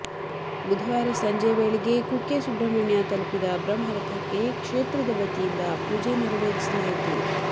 ಬುಧವಾರ ಸಂಜೆ ವೇಳೆಗೆ ಕುಕ್ಕೆ ಸುಬ್ರಹ್ಮಣ್ಯ ತಲುಪಲಿದ ಬ್ರಹ್ಮರಥಕ್ಕೆ ಕ್ಷೇತ್ರದ ವತಿಯಿಂದ ಪೂಜೆ ನೆರವೇರಿಸಲಾಯಿತು